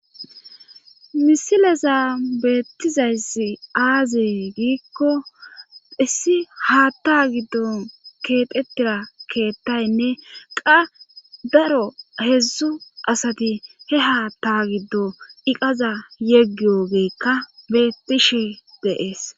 Misileza beettizayssi aazee giikko issi haatta giddon keexettiya keettaynne qa daro heedzdzu asati he haata giddo iqaza yeggiyogeekka betishe de7ees.